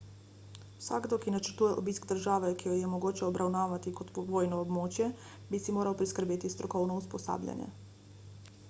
vsakdo ki načrtuje obisk države ki jo je mogoče obravnavati kot vojno območje bi si moral priskrbeti strokovno usposabljanje